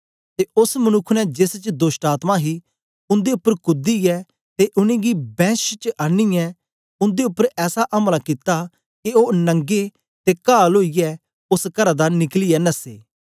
ते ओस मनुक्ख ने जेस च दोष्टआत्मा ही उन्दे उपर कूदीयै ते उनेंगी बैंश च आनीयै उन्दे उपर ऐसा अमला कित्ता के ओ नंगे ते कहाल ओईयै ओस करा दा निकलियै नस्से